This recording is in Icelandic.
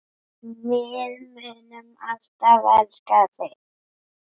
Við munum alltaf elska þig.